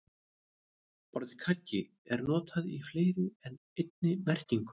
Orðið kaggi er notað í fleiri en einni merkingu.